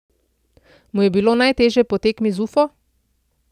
Mu je bilo najtežje po tekmi z Ufo?